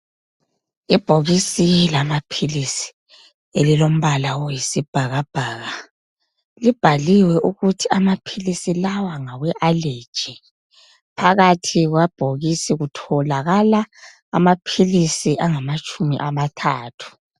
Ibhokisi lamaphilisi elilombala oyisibhakabhaka libhaliwe ukuthi amaphilisi lawa ngawe allergy. Phakathi kwebhokisi kutholakala amaphilisi angamatshumi amathathu